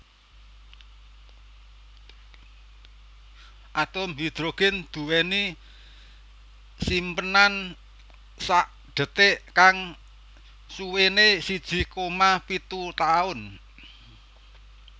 Atom hidrogen duweni simpenan sakdetik kang suwene siji koma pitu taun